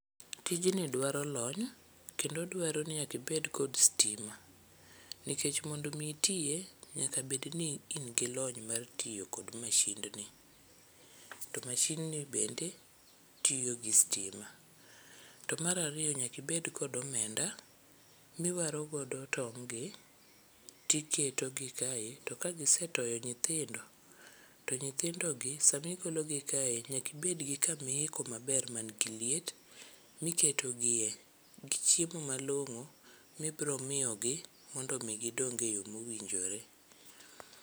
Tijni dwaro lomny kendo dwaro ni nyakibed kod stima. Nikech mondo mi itiye, nyaka bedni in gi lony mar tiyo kod mashindni. To mashindni bende tiyo gi stima. To marariyo nyakibed kod omenda miwaro godo tong' gi tiketogi kae. To kagisetoyo nyithindo, to nyithindo gi samigologi kae nyakibed gi kamiiko maber man gi liet miketogie. Gi chiemo malong'o mibro miyogi mondo mi gidong e yo mowinjore.